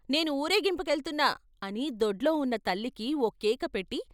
నేను వూరేగింపు కెళ్తున్నా అని దొడ్లో ఉన్న తల్లికి ఓ కేక పెట్టి.